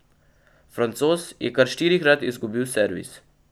Francoz je kar štirikrat izgubil servis.